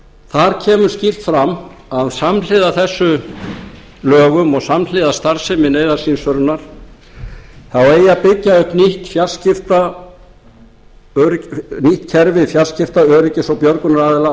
þar kemur skýrt fram að samhliða þessum lögum og samhliða starfsemi neyðarsímsvörunar þá eigi að byggja upp nýtt kerfi fjarskipta öryggis og björgunaraðila á